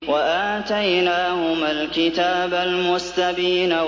وَآتَيْنَاهُمَا الْكِتَابَ الْمُسْتَبِينَ